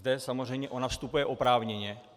Zde samozřejmě ona vstupuje oprávněně.